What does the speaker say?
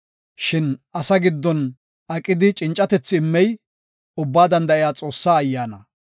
Shin asa giddon aqidi cincatethi immey, Ubbaa Danda7iya Xoossaa Ayyaana.